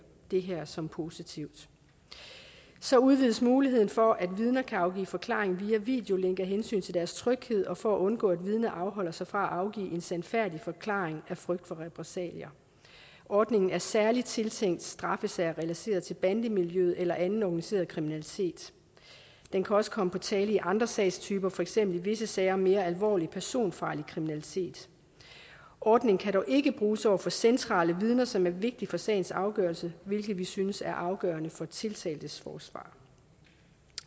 det her som positivt så udvides muligheden for at vidner kan afgive forklaring via videolink af hensyn til deres tryghed og for at undgå at vidner afholder sig fra at afgive en sandfærdig forklaring af frygt for repressalier ordningen er særlig tiltænkt straffesager relateret til bandemiljøet eller anden organiseret kriminalitet den kan også komme på tale i andre sagstyper for eksempel i visse sager om mere alvorlig personfarlig kriminalitet ordningen kan dog ikke bruges over for centrale vidner som er vigtige for sagens afgørelse hvilket vi synes er afgørende for tiltaltes forsvar